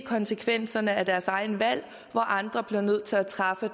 konsekvenserne af deres egne valg og hvor andre bliver nødt til at træffe